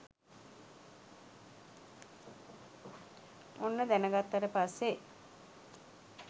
ඔන්න දැනගත්තට පස්සේ